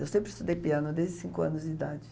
Eu sempre estudei piano desde cinco anos de idade.